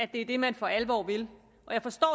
det er det man for alvor vil og jeg forstår